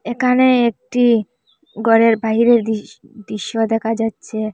এখানে একটি ঘরের বাহিরের দৃশ-দৃশ্য দেখা যাচ্ছে।